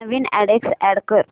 नवीन address add कर